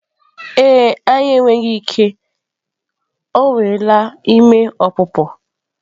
E e, anyị enweghị ike, o nweela ime ọpụpụ.